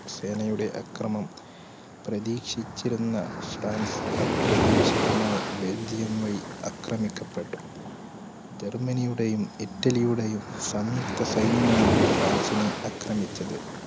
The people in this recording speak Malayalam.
സേനയുടെ അക്രമണം പ്രതീക്ഷിച്ചിരുന്ന ഫ്രാൻസ് അപ്രതീക്ഷിതമായി ബെൽജിയം വഴി അക്രമിക്കപ്പെട്ടു. ജർമ്മനിയുടെയും ഇറ്റലിയുടെയും സംയുക്ത സൈന്യമാണ് ഫ്രാൻസിനെ അക്രമിച്ചത്.